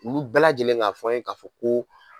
Olu bɛɛ lajɛlen ka fɔ an ye ka fɔ ko